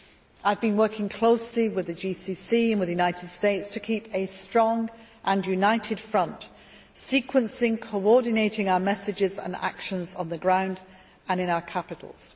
I have been working closely with the GCC and with the United States to keep a strong and united front, sequencing and coordinating our messages and actions on the ground and in our capitals.